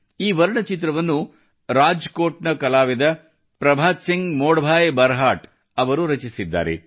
ಈ ವರ್ಣಚಿತ್ರವನ್ನು ರಾಜ್ಕೋಟ್ನ ಕಲಾವಿದ ಪ್ರಭಾತ್ ಸಿಂಗ್ ಮೋಡಭಾಯಿ ಬರ್ಹಾಟ್ ಅವರು ರಚಿಸಿದ್ದಾರೆ